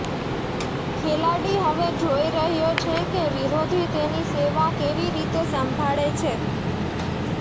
ખેલાડી હવે જોઈ રહ્યો છે કે વિરોધી તેની સેવા કેવી રીતે સંભાળે છે